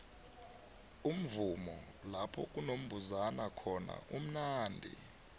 umuvumo lakunombuzana khona umunandi